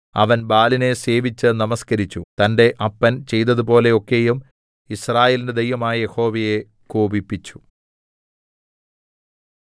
അവൻ ബാലിനെ സേവിച്ച് നമസ്കരിച്ചു തന്റെ അപ്പൻ ചെയ്തതുപോലെ ഒക്കെയും യിസ്രായേലിന്റെ ദൈവമായ യഹോവയെ കോപിപ്പിച്ചു